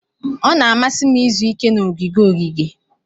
Ọ na-amasị m izu ike na ogige ogige.